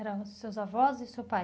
Eram seus avós e seu pai?